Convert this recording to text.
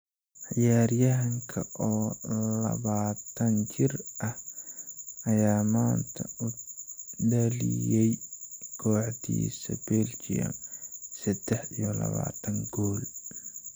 Ciyaaryahanka oo labataan jir ah ayaa maanta u dhaliyay kooxdiisa Belgium sedax iyo labatan gool.